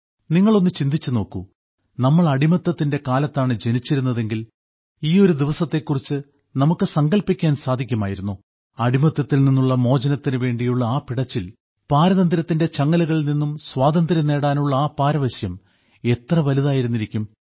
നിങ്ങൾ ഒന്ന് ചിന്തിച്ചു നോക്കൂ നമ്മൾ അടിമത്തത്തിന്റെ കാലത്താണ് ജനിച്ചിരുന്നതെങ്കിൽ ഈ ഒരു ദിവസത്തെ കുറിച്ച് നമുക്ക് സങ്കല്പിക്കാൻ സാധിക്കുമായിരുന്നോ അടിമത്തത്തിൽ നിന്നുള്ള മോചനത്തിനു വേണ്ടിയുള്ള ആ പിടച്ചിൽ പാരതന്ത്ര്യത്തിന്റെ ചങ്ങലകളിൽ നിന്നു സ്വാതന്ത്ര്യം നേടാനുള്ള ആ പാരവശ്യം എത്ര വലുതായിരുന്നിരിക്കും